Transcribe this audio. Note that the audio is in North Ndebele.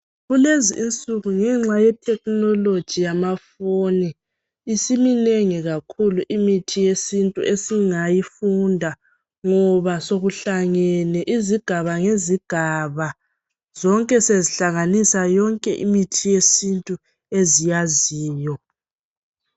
kulezi insuku ngenxa ye technology yamafoni isiminengi kakhulu imithi yesintu esingayifunda ngoba sokuhlangene izigaba ngezigaba zonke sezihlanganisa yonke imithi yesintu eziyaziyo